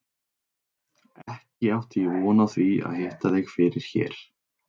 Ekki átti ég von á því að hitta þig fyrir hér!